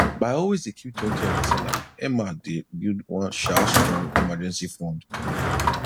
by always dey keeptwentyof her salary emma dey build one um strong emergency fund